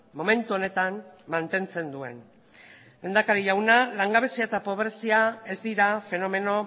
momentu honetan mantentzen duen lehendakari jauna langabezia eta pobrezia ez dira fenomeno